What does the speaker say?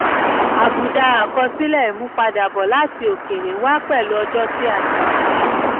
àbùdá àkọsílẹ̀ imúpadàbọ̀ láti òkèèrè wá pẹ̀lú ọjọ́ tí a ṣètò.